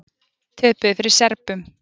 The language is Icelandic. Töpuðu fyrir Serbum